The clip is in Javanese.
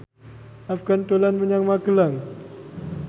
Afgan dolan menyang Magelang